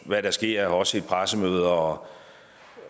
hvad der sker også i pressemøder og